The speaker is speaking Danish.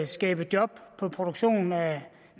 skabe job på produktion af